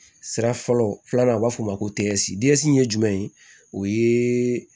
Sira fɔlɔ filanan na u b'a fɔ o ma ko ye jumɛn ye o ye